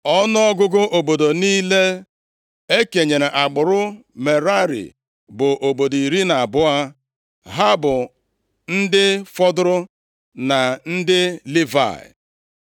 Ọnụọgụgụ obodo niile e kenyere agbụrụ Merari bụ obodo iri na abụọ, ha bụ ndị fọdụrụ na ndị Livayị.